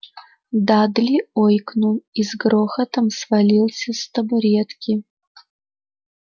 дадли ойкнул и с грохотом свалился с табуретки